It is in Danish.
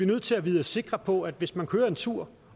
nødt til at vide os sikre på at hvis man kører en tur